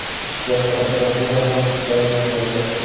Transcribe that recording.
Ishga prokuratura ham jalb etildi.